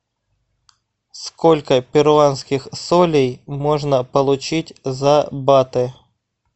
сколько перуанских солей можно получить за баты